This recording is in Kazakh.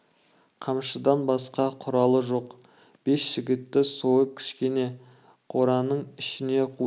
қамшыдан басқа құралы жоқ бес жігітті сойып кішкене қораның ішінен қуды